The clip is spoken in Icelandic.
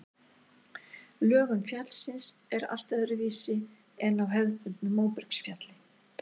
Lögun fjallsins er allt öðruvísi en á hefðbundnu móbergsfjalli.